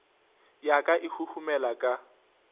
ya ka e huhumela ka